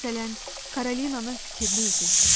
Məsələn, Karolinanın fikirli üzü.